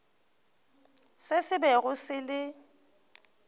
se se bego se le